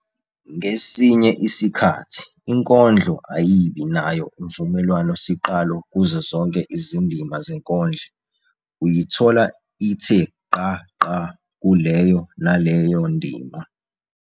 Ngesinye isikhathi inkondlo ayibi nayo imvumelwano siqalo kuzo zonke izindima zenkondlo, uyithola ithe gqa gqa kuleyo naleyo ndima.